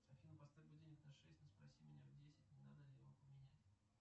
афина поставь будильник на шесть и спроси меня в десять не надо ли его поменять